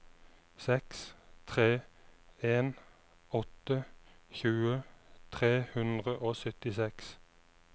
seks tre en åtte tjue tre hundre og syttiseks